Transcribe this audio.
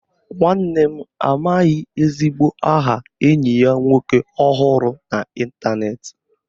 Nwanne m amaghị ezigbo aha enyi ya nwoke ọ hụrụ n'Ịntanet